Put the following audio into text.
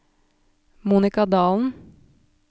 Monica Dahlen